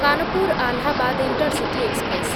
Kanpur Allahabad intercity express